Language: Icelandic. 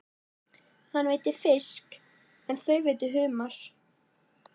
Hann veiddi fisk en þau veiddu humar.